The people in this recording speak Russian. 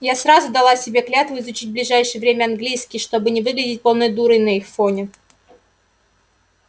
я сразу дала себе клятву изучить в ближайшее время английский чтобы не выглядеть полной дурой на их фоне